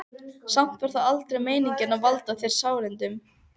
Samt var það aldrei meiningin að valda þér sárindum.